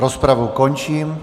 Rozpravu končím.